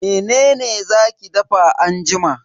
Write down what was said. Mene za ki dafa anjima?